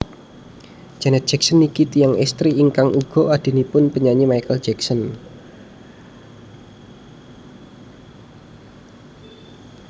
Janet Jackson niki tiyang estri ingkang uga adhinipun penyanyi Michael Jackson